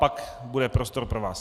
Pan bude prostor pro vás.